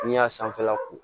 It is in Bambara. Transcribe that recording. N'i y'a sanfɛla ko